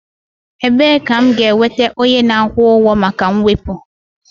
Ebee ka m ga-enweta onye na-akwụ ụgwọ maka mwepu?